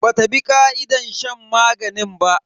Bata bi ka'idar shan maganin ba.